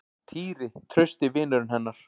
Týri, trausti vinurinn hennar.